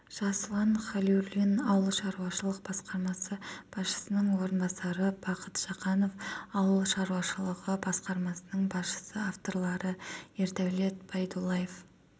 жасұлан халиуллин ауыл шаруашылық басқармасы басшысының орынбасары бақыт жақанов ауыл шаруашылығы басқармасының басшысы авторлары ердәулет байдуллаев